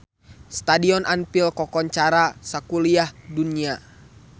Stadion Anfield kakoncara sakuliah dunya